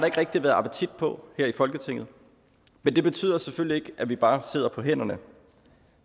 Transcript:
ikke rigtig været appetit på her i folketinget men det betyder selvfølgelig at vi bare sidder på hænderne